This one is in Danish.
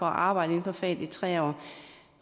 arbejde inden for faget i tre år